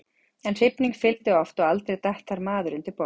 En hrifning fylgdi oft og aldrei datt þar maður undir borð.